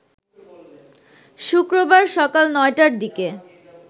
শুক্রবার সকাল ৯ টার দিকে